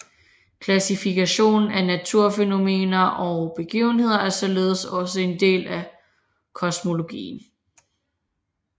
Klassifikation af naturfænomener og begivenheder er således også en del af kosmologien